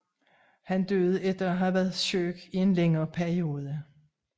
Han døde efter at have været syg i en længere periode